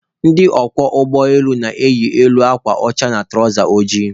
Ndị ọkwọ ụgbọ elu na-eyi elu akwa ọcha na tụrawza ojii.